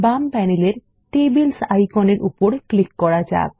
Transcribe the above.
বাম প্যানেলের টেবিলস আইকনের উপর ক্লিক করা যাক